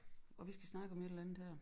Og vi skal snakke om et eller andet her